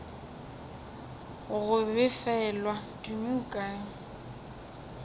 go befelwa tumi o kae